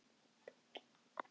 Það var tómt.